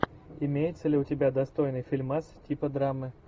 имеется ли у тебя достойный фильмас типа драмы